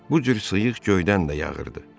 Bu cür sıyıq göydən də yağırdı.